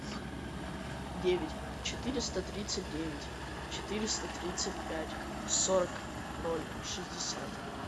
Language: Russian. девять четыреста тридцать девять четыреста тридцать пять сорок ноль шестьдесят